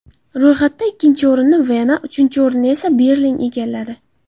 Ro‘yxatda ikkinchi o‘rinni Vena, uchinchi o‘rinni esa Berlin egalladi.